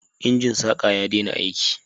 Injin saƙa ya dena aiki